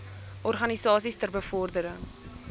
organisasies ter bevordering